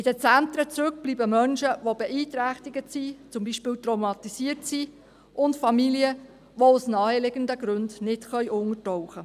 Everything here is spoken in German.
In den Zentren bleiben Menschen zurück, die beeinträchtigt sind, zum Beispiel traumatisiert sind, und Familien, die aus naheliegenden Gründen nicht untertauchen können.